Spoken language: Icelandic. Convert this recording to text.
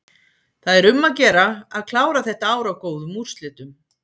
Það er um að gera að klára þetta ár á góðum úrslitum.